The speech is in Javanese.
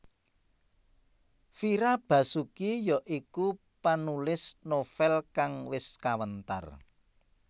Fira Basuki ya iku panulis novèl kang wis kawentar